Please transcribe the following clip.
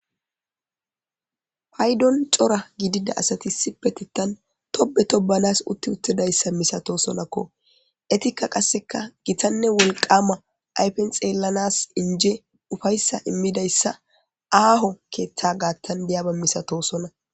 Paydon cora gidida asati sipetitan tobe tobanas utti uttidayssa misatosonakko etikka qasseka gitanne wolqama aypen xeellanas inje ufayssa immidayssa aaho keeththa gaattan deyaba misato sona.